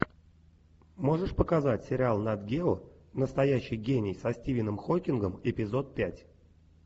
можешь показать сериал нат гео настоящий гений со стивеном хоккингом эпизод пять